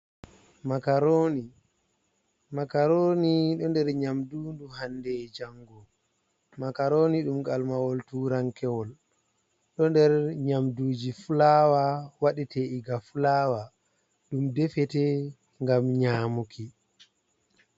makaroni do nder nyamdu ndu hande e jango ,makaroni dum kalmawol turankewol ,do nder nyamduji fulawa wadete iga fulawa ,dum defete gam nyamuki.